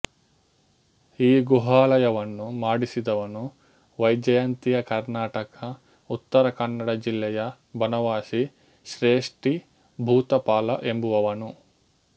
ಈ ಗುಹಾಲಯವನ್ನು ಮಾಡಿಸಿದವನು ವೈಜಯಂತಿಯ ಕರ್ನಾಟಕ ಉತ್ತರ ಕನ್ನಡ ಜಿಲ್ಲೆಯ ಬನವಾಸಿ ಶ್ರೇಷ್ಠಿ ಭೂತಪಾಲ ಎಂಬುವವನು